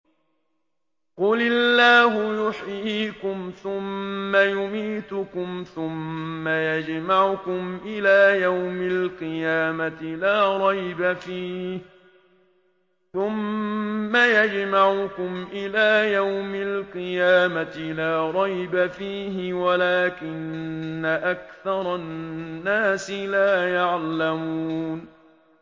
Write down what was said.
قُلِ اللَّهُ يُحْيِيكُمْ ثُمَّ يُمِيتُكُمْ ثُمَّ يَجْمَعُكُمْ إِلَىٰ يَوْمِ الْقِيَامَةِ لَا رَيْبَ فِيهِ وَلَٰكِنَّ أَكْثَرَ النَّاسِ لَا يَعْلَمُونَ